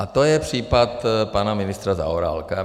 A to je případ pana ministra Zaorálka.